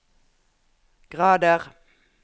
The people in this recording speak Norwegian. grader